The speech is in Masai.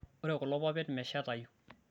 ore kulo papapit meshetayu